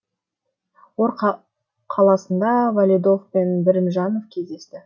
ор қаласында валидов пен бірімжанов кездесті